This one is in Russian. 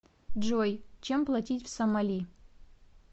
джой чем платить в сомали